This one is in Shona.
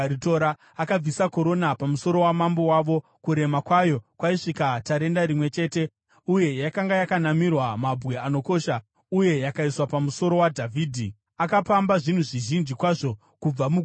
Akabvisa korona pamusoro wamambo wavo, kurema kwayo kwaisvika tarenda rimwe chete uye yakanga yakanamirwa mabwe anokosha, uye yakaiswa pamusoro waDhavhidhi. Akapamba zvinhu zvizhinji kwazvo kubva muguta iri